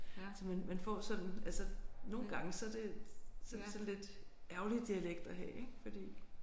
Så man man får sådan altså nogle gange så er det så er det sådan lidt ærgerlig dialekt at have ik fordi